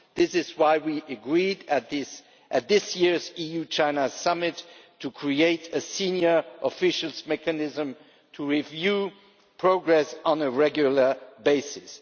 That is why we agreed, at this year's EU China Summit, to create a senior officials' mechanism to review progress on a regular basis.